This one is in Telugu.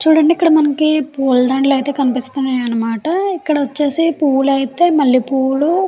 చూడండి మనకి ఇక్కడ పూల దండాలు అయితే కనిపిస్తున్నాయి అనమాట. ఇక్కడ వచ్చేసి పూలు అయితే మల్లెపూలు.